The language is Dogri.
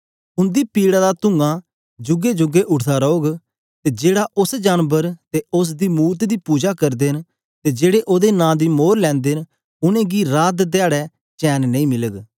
उंदी पीड़ा दा तूंआं जूगे जूगे उठदा रोह्ग ते जेहड़ा उस्स जानबर ते उस्स दी मूरत दी पुजा करदे न ते जेड़े ओदे नां दी मोर लैंदे न उनेंगी रात धयारे चैन नेई मिलग